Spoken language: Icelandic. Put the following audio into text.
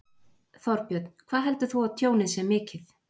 Þorbjörn: Hvað heldur þú að tjónið sé mikið?